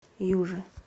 южи